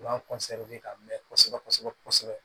U b'an ka mɛn kosɛbɛ kosɛbɛ